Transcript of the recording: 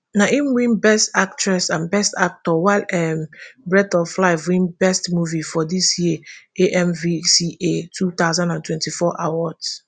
na im win best actress and best actor while um breathe of life win best movie for dis year amvca two thousand and twenty-four awards